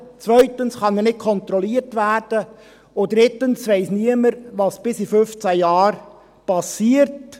zweitens kann er nicht kontrolliert werden, und drittens weiss niemand, was bis in 15 Jahren geschieht.